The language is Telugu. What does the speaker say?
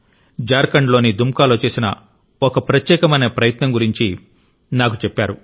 జార్ఖండ్లోని దుమ్కాలో చేసిన ఒక ప్రత్యేకమైన ప్రయత్నం గురించి నాకు చెప్పారు